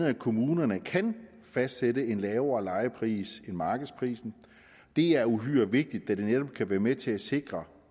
at kommunerne kan fastsætte en lavere lejepris end markedsprisen det er uhyre vigtigt da det netop kan være med til at sikre